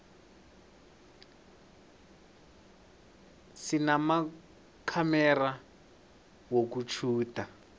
sinamakhamera wokutjhuda